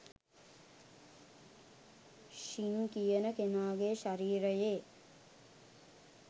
ශින් කියන කෙනාගේ ශරීරයේ